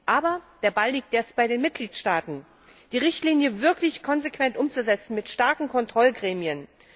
Aber der Ball liegt jetzt bei den Mitgliedstaaten, die Richtlinie wirklich konsequent umzusetzen, mit starken Kontrollgremien.